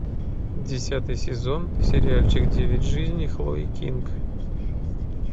десятый сезон сериальчик девять жизней хлои кинг